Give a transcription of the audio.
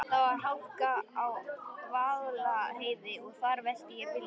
Það var hálka á Vaðlaheiði og þar velti ég bílnum.